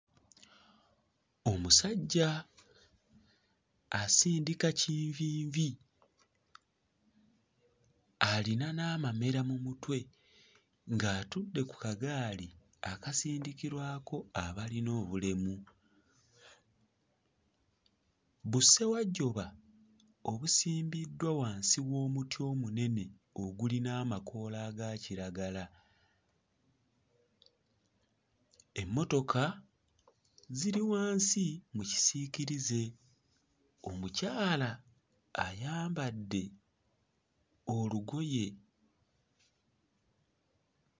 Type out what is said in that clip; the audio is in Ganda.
Omusajja asindika kinvinvi, alina n'amamera mu mutwe ng'atudde ku kagaali akasindikirwako abalina obulemu. Bussewajjuba obusimbiddwa wansi w'omuti omunene ogulina amakoola aga kiragala, emmotoka ziri wansi mu kisiikirize, omukyala ayambadde olugoye.